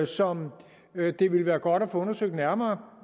som det vil være godt at få undersøgt nærmere